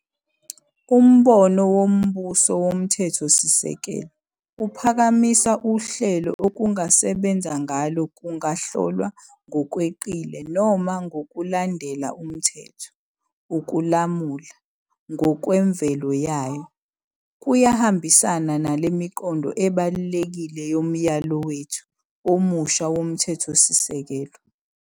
Umbono wombuso womthethosisekelo uphakamisa uhlelo okungasebenza ngalo kungahlolwa ngokweqile noma ngokulandela umthetho. Ukulamula, ngokwemvelo yayo, kuyahambisana nale miqondo ebalulekile yomyalo wethu omusha womthethosisekelo.